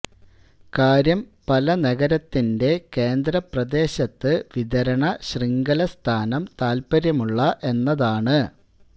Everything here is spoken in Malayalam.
കാര്യം പല നഗരത്തിന്റെ കേന്ദ്ര പ്രദേശത്ത് വിതരണ ശൃംഖല സ്ഥാനം താൽപ്പര്യമുള്ള എന്നതാണ്